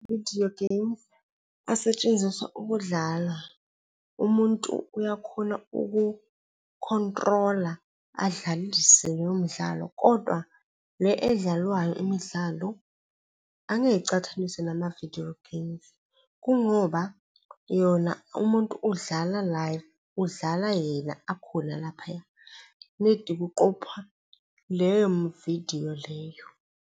Vidiyo geyimu asetshenziswa ukudlala. Umuntu uyakhona uku-control-a, adlalise leyo midlalo, kodwa le edlalwayo imidlalo angeke icathaniswe namavidiyo geyimu. Kungoba yona umuntu udlala live, udlala yena akhona laphaya nedi kuqophwa leyo vidiyo leyo.